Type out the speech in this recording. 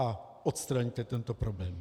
A odstraňte tento problém.